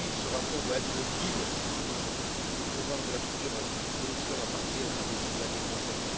Ce rapport doit être le guide de notre politique et du programme de la future Commission à partir du début de l'année prochaine.